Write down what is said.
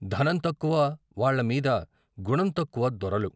ధనం తక్కువ వాళ్ళమీద గుణం తక్కువ దొరలు